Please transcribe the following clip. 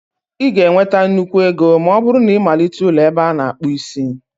Ị ga-enweta nnukwu ego ma ọ bụrụ na ịmalite ụlọ ebe ana-akpu isi